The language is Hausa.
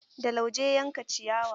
Da lauje ya yanke ciyawa.